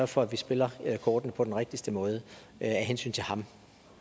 for at vi spiller kortene på den rigtigste måde af hensyn til ham